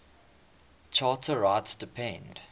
charter rights depend